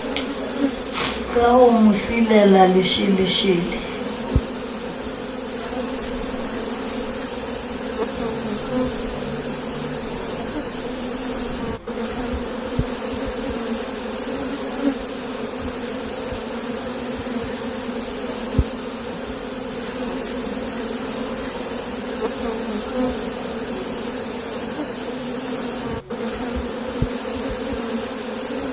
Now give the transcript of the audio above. ka ho mo silela lesheleshele